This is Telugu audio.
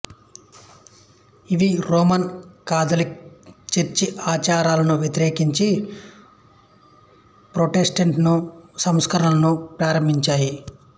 ఇవి రోమన్ కాధలిక్ చర్చి ఆచారాలను వ్యతిరేకించి ప్రోటెస్టన్ట్ సంస్కరణలను ప్రారంభించాయి